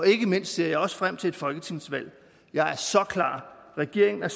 ikke mindst ser jeg også frem til et folketingsvalg jeg er regeringen er